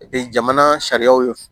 jamana sariyaw